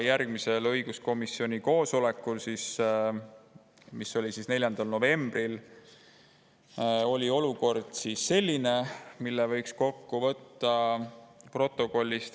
Järgmisel õiguskomisjoni koosolekul, mis oli 4. novembril, oli olukord selline, nagu võib kokku võtta protokolli põhjal.